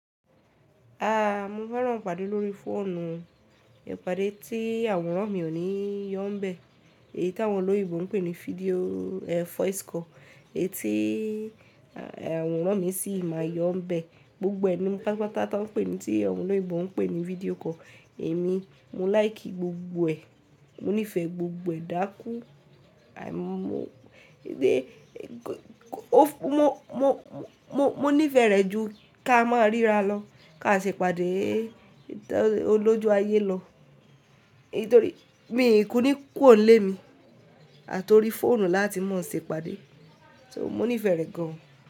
A, mo fẹ́ràn ìpàdé lórí fóònù, ìpàdé tí àwọn mọmọmi ò ní yọ́ǹ bẹ̀, èyí tí àwọn olóyinbo ń pè ní fídíò, e, voice call, èyí tí, e, àwọn momọ mi sì máa yọ̀ǹ bẹ̀. Gbogbo ẹ ni mó paápàá ta tó ń pè é ní tí àwọn olóyinbo ń pè ní fídíò call, èmi mó like gbogbo ẹ̀, mó nífẹ̀ẹ́ gbogbo ẹ̀ dákú. Àì mó, bí i, ó, mó, mó, mó, mó nífẹ̀ẹ́ rẹ̀ ju ká máa ríra lọ, ká ṣe ìpàdé, ẹ́, lọ́ju ayé lọ. Nítorí mii kú ní kùro n le mi àti orí fóònù láati máa ṣe ìpàdé, so mó nífẹ̀ẹ́ rẹ̀ gan.